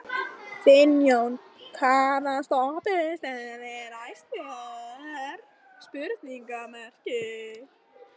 Finnjón, hvaða stoppistöð er næst mér?